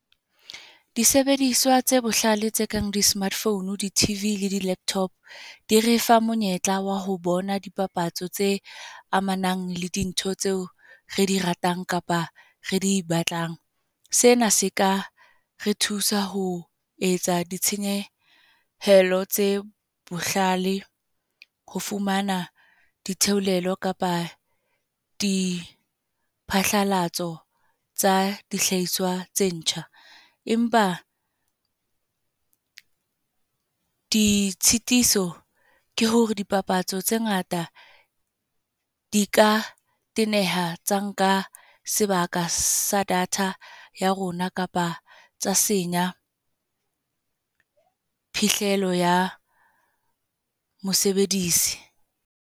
Disebediswa tse bohlale tse kang di-smartphone, di-T_V le di-laptop. Di refa monyetla wa ho bona dipapatso tse amanang le dintho tseo re di ratang kapa re di batlang. Sena seka re thusa ho etsa ditshenyehelo tse bohlale, ho fumana ditheolelo kapa di phatlalatso tsa dihlahiswa tse ntjha. Empa, ditshitiso ke hore dipapatso tse ngata di ka teneha tsa nka sebaka sa data ya rona kapa tsa senya, phihlelo ya mosebedisi.